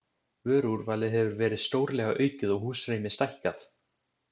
Vöruúrvalið hefur verið stórlega aukið og húsrými stækkað.